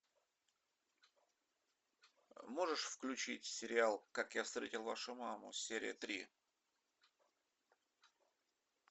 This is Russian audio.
можешь включить сериал как я встретил вашу маму серия три